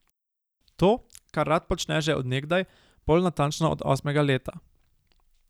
To, kar rad počne že od nekdaj, bolj natančno od osmega leta.